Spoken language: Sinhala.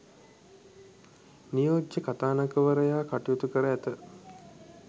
නියෝජ්‍ය කතානායකවරයා කටයුතු කර ඇත.